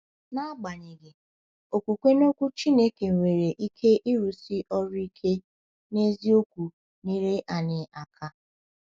Agbanyeghị, okwukwe n’Okwu Chineke nwere ike ịrụsi ọrụ ike n’eziokwu nyere anyị aka.